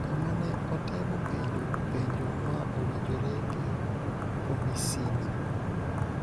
kama ne otemo penjo �penjo ma owinjore gi komisina.�